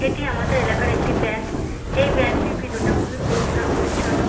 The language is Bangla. এটি আমাদের এলাকার একটি ব্যাংক এই ব্যাংক এর ভিতরটা খুবই পরিষ্কার পরিচ্ছন্ন।